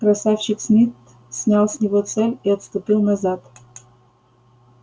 красавчик смит снял с него цепь и отступил назад